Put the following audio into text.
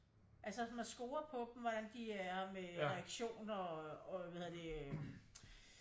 Altså så man scorer på dem hvordan de er med øh reaktioner og hvad hedder det øh